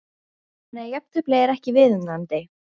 Þannig að jafntefli er ekki viðunandi?